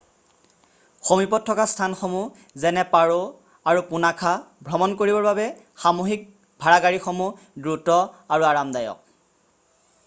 সমীপত থকা স্থানসমূহ যেনে পাৰো nu ১৫০ আৰু পুনাখা nu ২০০ ভ্ৰমণ কৰিবৰ বাবে সামুহিক ভাড়াগাড়ীসমূহ দ্ৰুত আৰু আৰামদায়ক।